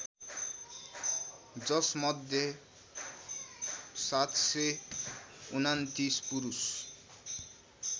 जसमध्ये ७२९ पुरुष